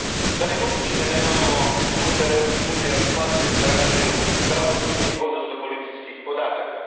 Je li moguće da nemamo unutar Europske unije kvalitetnu razmjenu pravosudnih, odnosno policijskih podataka?